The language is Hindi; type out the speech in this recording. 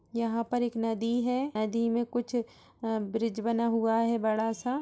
यहाँ पर नदी है। नदी मे कुछ अ ब्रिज बना हुआ है बड़ा सा।